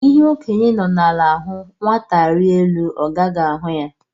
Ihe okenye nọ ala hụ, nwata rịa elu ọ gaghị ahụ ya